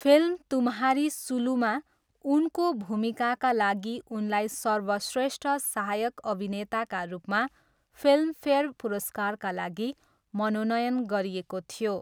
Film Tumhari सुलुमा उनको भूमिकाका लागि उनलाई सर्वश्रेष्ठ सहायक अभिनेताका रूपमा फिल्मफेयर पुरस्कारका लागि मनोनयन गरिएको थियो।